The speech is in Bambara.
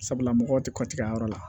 Sabula mɔgɔw tɛ ka tigɛ a yɔrɔ la